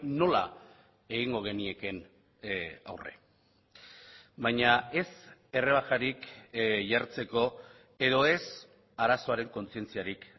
nola egingo geniekeen aurre baina ez errebajarik jartzeko edo ez arazoaren kontzientziarik